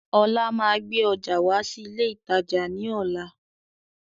Ọlá máa gbé ọjà wá sí ilé ìtajà ni ọ̀la.